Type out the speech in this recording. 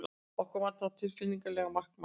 Okkur vantar tilfinnanlega markmann.